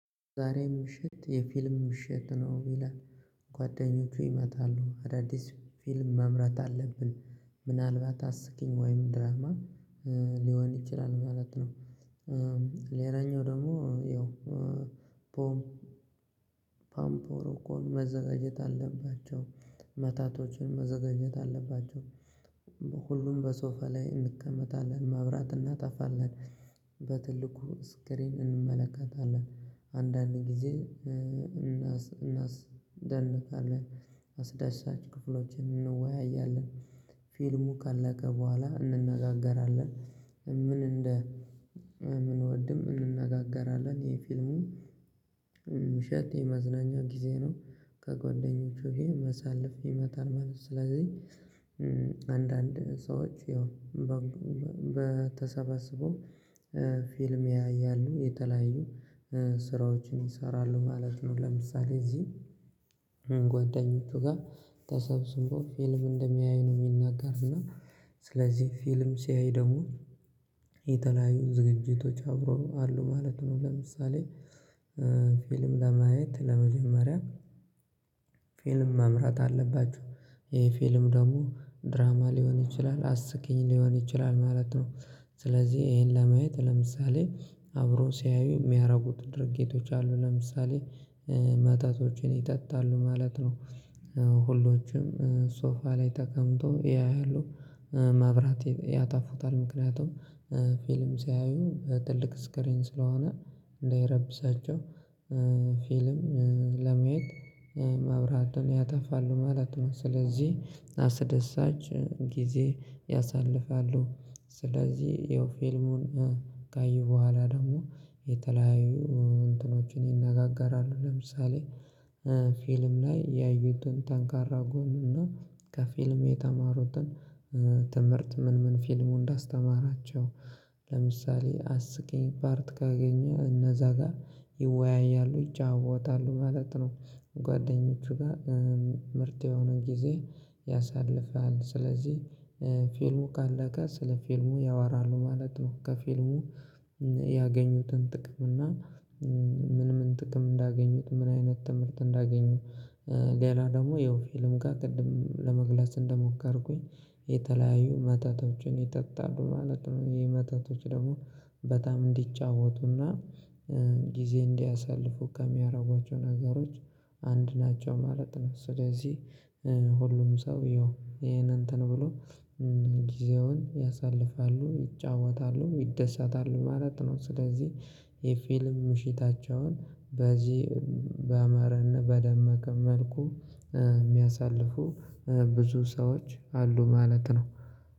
ዛሬም ምሽት የፊልም ምሽት ነው ይላል ጓደኞቼ ይመጣሉ አዳዲስ ፊልም መምረጥ አለብን ምናልባት አስቂኝ ወይም ድራማ ሊሆን ይችላል ማለት ነው። ሌላኛው ደግሞ ያው ቦም ፓምፖሮ እኮ መዘጋጀት አለባቸው መታቶችን መዘጋጀት አለባቸው። ሁሉም በሶፋ ላይ እንቀመጣለን ማብራት እናጣፋለን። በትልቁ ስክሪን እንመለከታለን። አንዳንድ ጊዜ እናስደነቃለን አስደሳች ክፍሎችን እንወያያለን። ፊልሙ ካለቀ በኋላ እንነጋገራለን ምን እንደ ምን እምንወድም እንነጋገራለን። ይሄ ፊልሙ ምሽት የመዝናኛ ጊዜ ነው። ከጓደኞቹ ጋር መሳለፍ ይመጣል ማለት ነው። ስለዚህ አንዳንድ ሰዎች ያው በተሰበሰቡ ፊልም ያያሉ የተለያዩ ስራዎችን ይሰራሉ ማለት ነው። ለምሳሌ እዚህ ጓደኞቹ ጋር ተሰብስቦ ፊልም እንደሚያይ ነው። የሚናገር እና ስለዚህ ፊልም ሲያይ ደግሞ የተለያዩ ዝግጅቶች አብሮ አሉ ማለት ነው። ለምሳሌ ፊልም ለማየት ለመጀመሪያ ፊልም መምረጥ አለባችሁ። ይሄ ፊልም ደግሞ ድራማ ሊሆን ይችላል አስቂኝ ሊሆን ይችላል ማለት ነው። ስለዚህ ይሄን ለማየት ለምሳሌ አብሮ ሲያዩ የሚያደርጉት ድርጊቶች አሉ ለምሳሌ መጠቶችን ይጠጣሉ ማለት ነው። ሁሎችም ሶፋ ላይ ተቀምጦ ያያሉ ማብራት ያጠፉታል ምክንያቱም ፊልም ሲያዩ ትልቅ ስክሪን ስለሆነ እንዳይረብሳቸው ፊልም ለመያዝ መብራትን ያጠፋሉ ማለት ነው። ስለዚህ አስደሳች ጊዜ ያሳልፋሉ። ስለዚህ የፊልሙን ካየሁ በኋላ ደግሞ የተለያዩ እንትኖችን ይነጋገራሉ። ለምሳሌ ፊልም ላይ ያዩትን ጠንካራ ጎን እና ከፊልም የተማሩትን ትምህርት ምን ምን ፊልሙን እንዳስተማራቸው ለምሳሌ አስቄ ፓርት ካገኘ እነዛ ጋር ይወያያሉ ይጫወታሉ ማለት ነው። ጓደኞቹ ጋር ምርጥ የሆነ ጊዜ ያሳልፋል ስለዚህ ፊልሙ ካለቀ ስለ ፊልሙ ያወራሉ ማለት ነው። ከፊልሙ ያገኙትን ጥቅም እና ምን ምን ጥቅም እንዳገኙት ምን አይነት ትምህርት እንዳገኙ። ሌላ ደግሞ ያው ፊልም ጋር ቅድም ለመግለጽ እንደሞከርኩኝ የተለያዩ መተቶችን ይጠጣሉ ማለት ነው። ይሄ መጠቶች ደግሞ በጣም እንዲጫወቱና ጊዜ እንዲያሳልፉ ከሚያደርጓቸው ነገሮች አንድ ናቸው ማለት ነው። ስለዚህ ሁሉም ሰው ይኸው ይሄን እንትን ብሎ ጊዜውን ያሳልፋሉ ይጫወታሉ ይደሳታሉ ማለት ነው። ስለዚህ የፊልም ምሽታቸውን በዚህ በአማረና በደመቀ መልኩ የሚያሳልፉ ብዙ ሰዎች አሉ ማለት ነው።